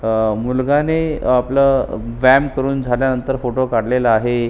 अह मुलग्याने आपला व्यायाम करून झाल्यानंतर फोटो काढलेला आहे.